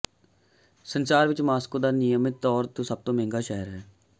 ਸੰਸਾਰ ਵਿੱਚ ਮਾਸਕੋ ਦਾ ਨਿਯਮਿਤ ਤੌਰ ਤੇ ਸਭ ਤੋਂ ਮਹਿੰਗਾ ਸ਼ਹਿਰ ਹੈ